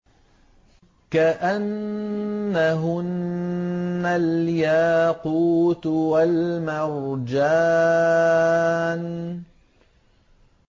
كَأَنَّهُنَّ الْيَاقُوتُ وَالْمَرْجَانُ